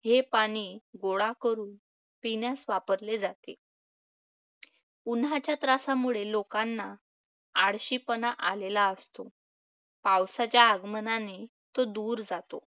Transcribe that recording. हे पाणी गोळा करून पिण्यास वापरले जाते. उन्हाच्या त्रासामुळे लोकांना आळशीपणा आलेला असतो. पावसाच्या आगमनाने तो दूर जातो.